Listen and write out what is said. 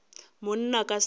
monna ka se ke ka